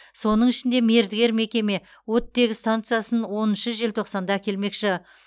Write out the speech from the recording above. соның ішінде мердігер мекеме оттегі стансасын оныншы желтоқсанда әкелмекші